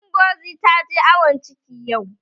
Ngozi ta je awon ciki yau